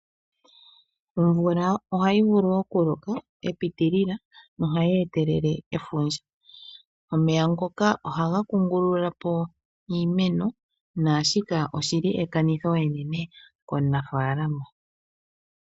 Omvula ohayi vulu okuloka epitilila nohayi etelele efundja. Omeya ngoka ohaga kungululapo iimeno naashika oshili ekanitho enene komunafalama.